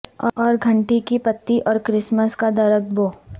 اور گھنٹی کی پتی اور کرسمس کا درخت بو